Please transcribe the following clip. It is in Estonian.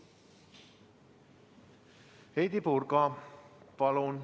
Heidy Purga, palun!